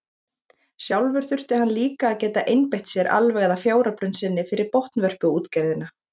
Sjálfur þurfti hann líka að geta einbeitt sér alveg að fjáröflun sinni fyrir botnvörpuútgerðina.